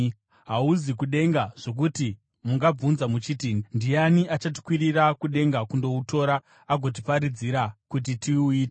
Hauzi kudenga, zvokuti mungabvunza muchiti, “Ndiani achatikwirira kudenga kundoutora agotiparidzira kuti tiuite?”